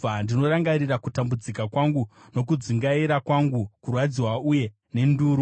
Ndinorangarira kutambudzika kwangu nokudzungaira kwangu, kurwadziwa uye nenduru.